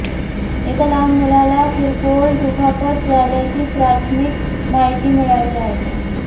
एका लहान मुलाला किरकोळ दुखापत झाल्याची प्राथमिक माहिती मिळाली आहे